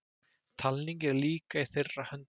Talningin er líka í þeirra höndum